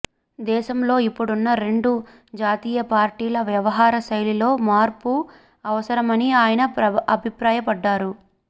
దేశంలో ఇప్పుడున్న రెండు జాతీయ పార్టీల వ్యవహార శైలిలో మార్పు అవసరమని ఆయన అభిప్రాయ పడ్డారు